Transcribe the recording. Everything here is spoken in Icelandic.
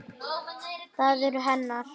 Það eru hennar.